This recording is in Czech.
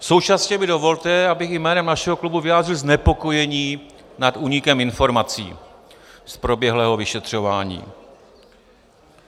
Současně mi dovolte, abych jménem našeho klubu vyjádřil znepokojení nad únikem informací z proběhlého vyšetřování.